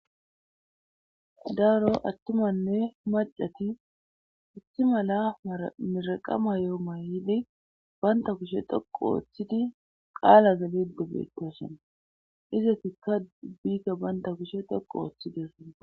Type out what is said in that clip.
Daro attunatinne maccati issi mala mirreqa mayo mayidi bantta kushe dhoqqu oothidi qaalaza geelidde beettoosona izatikka ubbika bantta kushe dhoqqu oothidoosona.